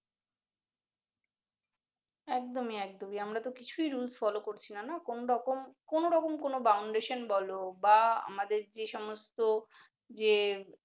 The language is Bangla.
একদম একদম ই আমরা তো কিছুই rules follow করছি না কোন রকম কোন boundation বলো বা আমদের যে সমস্ত যে